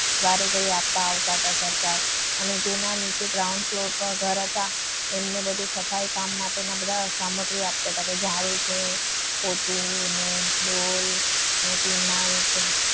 વારે ઘડી આપવા આવતા હતા. સરકાર અને તેના નીચે ground floor પર ઘર હતા. એમને બધું સફાઈ કામ માટે બધા સામગ્રી આપતા હતા. કે જાડું છે પોતુ અને ડોલ અને ફિનાઈલ